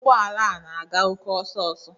Ụgbọ ala a na-aga oke ọsọ ọsọ